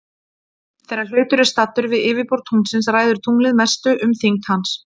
Þegar hlutur er staddur við yfirborð tunglsins ræður tunglið mestu um þyngd hans.